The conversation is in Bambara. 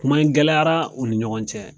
Kuma in gɛlɛyara u ni ɲɔgɔn cɛ.